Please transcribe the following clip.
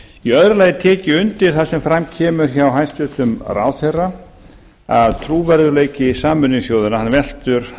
í öðru lagi tek ég undir það sem fram kemur hjá hæstvirtum ráðherra að trúverðugleiki sameinuðu þjóðanna veltur